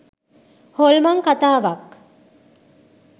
හොල්මන් කථාවක්.